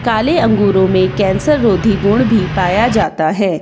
काले अंगूरों में कॅन्सर रोधी गुण भीं पाया जाता हैं।